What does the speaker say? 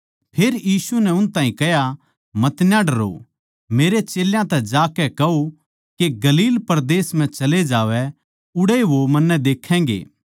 फेर यीशु नै उनतै कह्या मतना डरो मेरे चेल्यां तै जाकै कहो के गलील परदेस म्ह चले जावै उड़ै वो मन्नै देखैगें